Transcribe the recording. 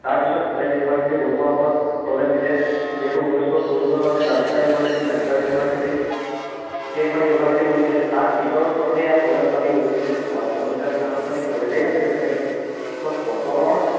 তাৰপাছত college university বনোৱাৰ উপৰত প্ৰলেপ দিলে যিহেতু ঊনৈছশ চৌৱন্ন চনত কেলকাতা university, মাদ্ৰাছ university, কেইখন university বনিছিলে তাৰপিছৰ স্তৰতহে এইয়া কলেজ পাতি বহিছিলে আৰু অসমত তেতিয়ালৈকে আনুষ্ঠানিক college এই নাছিল তেনেকে, ত কটনৰ